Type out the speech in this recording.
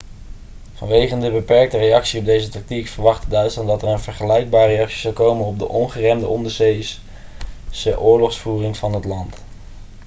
vanwege de beperkte reactie op deze tactiek verwachtte duitsland dat er een vergelijkbare reactie zou komen op de ongeremde onderzeese oorlogsvoering van het land